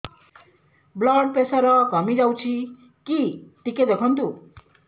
blood pressure କମି ଯାଉଛି କି ଟିକେ ଦେଖନ୍ତୁ